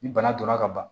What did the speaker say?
Ni bana donna ka ban